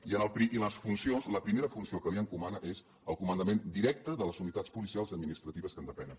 i en les funcions la primera funció que li encomana és el comandament directe de les unitats policials i administratives que en depenen